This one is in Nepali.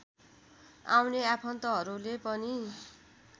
आउने आफन्तहरूले पनि